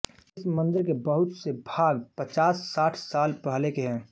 इस मंदिर के बहुत से भाग पचाससाठ साल पहले के है